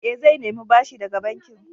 Eh, zai nemi bashi daga bankin.